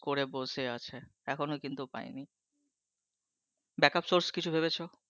করে বসে আছে এখনও৷ কিন্তু পাইনি। backup source কিছু ভেবেছ?